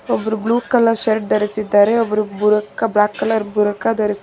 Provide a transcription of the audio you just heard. ಒಬ್ರು blue colour shirt ಧರಿಸಿದ್ದಾರೆ ಒಬ್ರು ಬ್ಲಾಕ್ ಕಲರ್ ಬುರ್ಖಾ ಧರಿಸಿದ್ದಾರೆ.